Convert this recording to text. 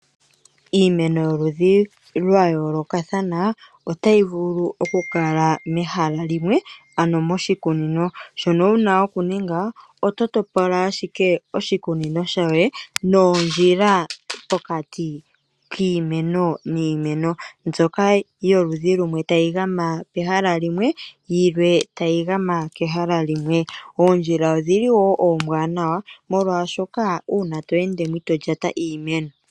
Iimeno yoludhi lwayoolokathana otayi vulu okukala mehala limwe ano moshikunino. Shono wuna okuninga ototopola ashike oshikunino shoye noondjila pokati kiimeno niimeno, ndjoka yaludhi lumwe tayi gama kehala limwe, yimwe tayi gama kehala limwe. Oondjila ombwaanawa oshoka otadhi keelele kuulyate iimeno.